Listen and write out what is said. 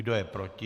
Kdo je proti?